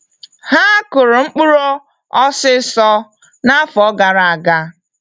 Ha kụrụ mkpụrụ osiso n'afọ gara aga.